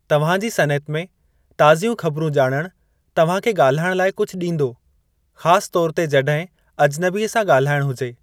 तव्हां जी सनइत में ताज़ियूं ख़बिरूं ॼाणणु तव्हां खे ॻाल्हाइण लाइ कुझु ॾींदो, ख़ासि तौर ते जॾहिं अजनबी सां ॻाल्हाइण हुजे।